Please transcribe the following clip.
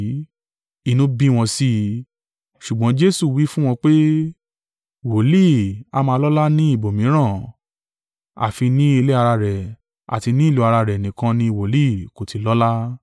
Inú bí wọn sí i. Ṣùgbọ́n Jesu wí fún wọn pé, “Wòlíì a máa lọ́lá ní ibòmíràn, àfi ní ilé ara rẹ̀ àti ní ìlú ara rẹ̀ nìkan ni wòlíì kò ti lọ́lá.”